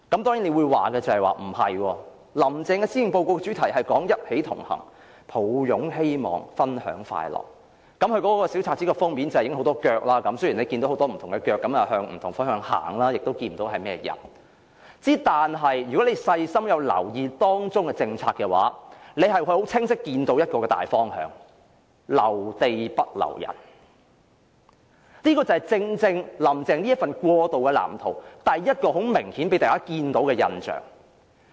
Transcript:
當然，有人會反駁說"林鄭"的施政報告主題是"一起同行擁抱希望分享快樂"，大家看到那份小冊子封面有很多人走路的腳，雖然大家走的方向不同，亦看不到走路的人的樣貌，但如果大家細心留意當中的政策，便會清晰看到一個大方向，便是"留地不留人"，這正正是"林鄭"這份過渡藍圖第一個明顯予人的印象。